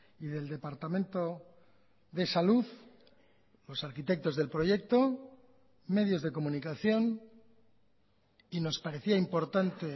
y del departamento de salud los arquitectos del proyecto medios de comunicación y nos parecía importante